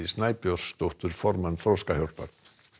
Snæbjörnsdóttur formann Þroskahjálpar